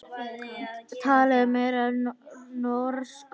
Talið meiri norsku.